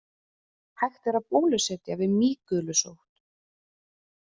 Hægt er að bólusetja við mýgulusótt.